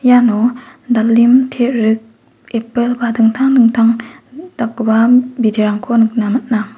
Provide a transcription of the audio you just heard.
iano dalim terik eppil ba dingtang dingtang dakgipa biterangko nikna man·a.